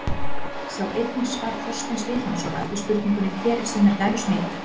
Sjá einnig svar Þorsteins Vilhjálmssonar við spurningunni Hver er sinnar gæfu smiður?